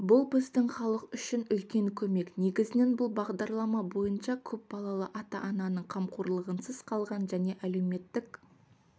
бұл біздің халық үшін үлкен көмек негізінен бұл бағдарлама бойынша көпбалалы ата-ананың қамқорлығынсыз қалған және әлеуметтік